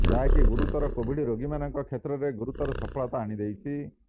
ଯାହାକି ଗୁରୁତର କୋଭିଡ ରୋଗୀମାନଙ୍କ କ୍ଷେତ୍ରରେ ଗୁରୁତର ସଫଳତା ଆଣି ଦେଇଛି